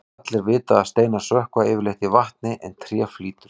allir vita að steinar sökkva yfirleitt í vatni en tré flýtur